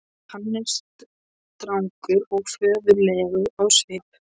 Hann er strangur og föður legur á svip.